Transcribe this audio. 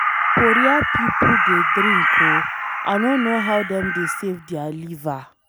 Korea people dey drink ooo, I no know how dem dey save their liver.